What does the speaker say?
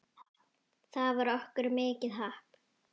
Það var okkur mikið happ.